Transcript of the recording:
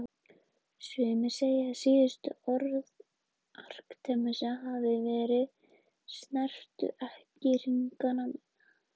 Sumir segja að síðustu orð Arkímedesar hafi verið: Snertu ekki hringana mína